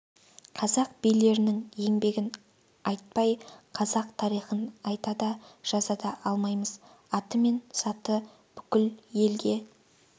қазақ билерінің еңбегін айтпай қазақ тарихын айта да жаза да алмаймыз аты мен заты бүкіл елге